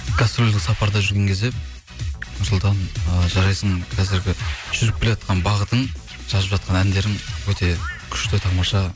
гастрольдік сапарда жүрген кезде нұрсұлтан ыыы жарайсың қазіргі жүріп келеатқан бағытың жазып жатқан әндерің өте күшті тамаша